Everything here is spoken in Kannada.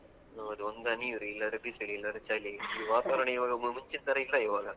ಹ್ಮ್ ಒಂದಾ ನೀರು, ಇಲ್ಲಾದ್ರೆ ಬಿಸಿಲು, ಇಲ್ಲಾದ್ರೆ ಚಳಿ ಈ ವಾತಾವರಣ ಇವಾಗ ಮುಂಚೆನ್ ತರ ಇಲ್ಲ ಇವಾಗ.